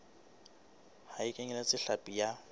ha e kenyeletse hlapi ya